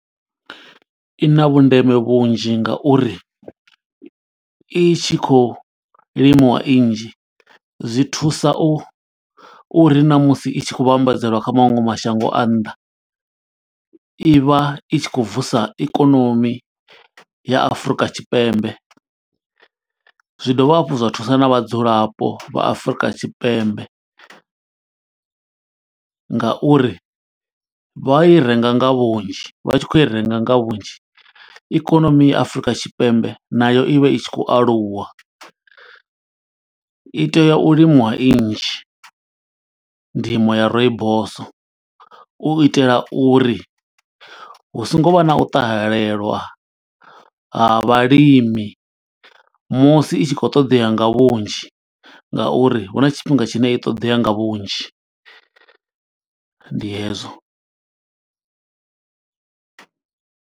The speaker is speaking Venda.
I na vhundeme vhunzhi nga uri i tshi khou limiwa i nnzhi, zwi thusa u u ri na musi i tshi khou vhambadzelwa kha maṅwe mashango a nnḓa, i vha i tshi kho vusa ikonomi ya Afurika Tshipembe. Zwi dovha hafhu zwa thusa na vhadzulapo vha Afrika Tshipembe nga uri vha i renga nga vhunzhi, vha tshi khou i renga nga vhunzhi ikonomi ya Afurika Tshipembe nayo i vha i tshi khou aluwa. I tea u limiwa i nnzhi ndimo ya rooibos, u itela uri hu songo vha na u ṱahelelwa ha vhalimi musi itshi khou ṱoḓea nga vhunzhi. Nga uri hu na tshifhinga tshine i ṱoḓea nga vhunzhi, ndi hezwo.